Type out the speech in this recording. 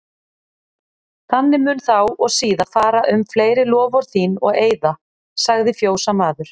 Þannig mun þá og síðar fara um fleiri loforð þín og eiða, sagði fjósamaður.